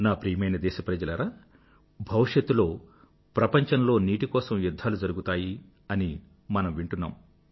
నా ప్రియమైన దేశ ప్రజలారా భవిష్యత్తులో ప్రపంచంలో నీటి కోసం యుధ్ధాలు జరుగుతాయి అని మనం వింటున్నాం